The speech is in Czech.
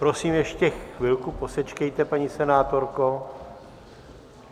Prosím, ještě chvilku posečkejte, paní senátorko.